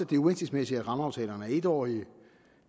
det er uhensigtsmæssigt at rammeaftalerne er etårige